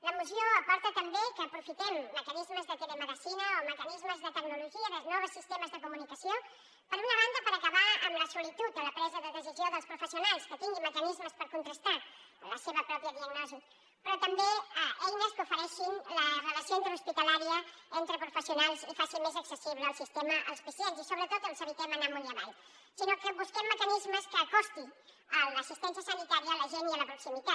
la moció aporta també que aprofitem mecanismes de telemedicina o mecanismes de tecnologia dels nous sistemes de comunicació per una banda per acabar amb la solitud en la presa de decisió dels professionals que tinguin mecanismes per contrastar la seva pròpia diagnosi però també eines que ofereixin la relació interhospitalària entre professionals i faci més accessible el sistema als pacients i sobretot els evitem anar amunt i avall i busquem mecanismes que acostin l’assistència sanitària a la gent la proximitat